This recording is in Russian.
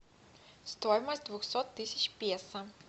стоимость двухсот тысяч песо